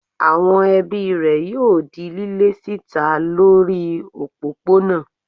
Àwon ebí rè yóò di lílé síta lórí òpópónà